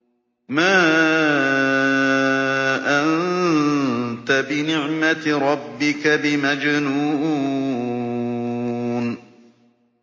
مَا أَنتَ بِنِعْمَةِ رَبِّكَ بِمَجْنُونٍ